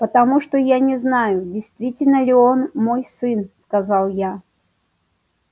потому что я не знаю действительно ли он мой сын сказал я